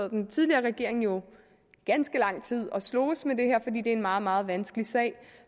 den tidligere regering jo ganske lang tid og sloges med det her fordi det er en meget meget vanskelig sag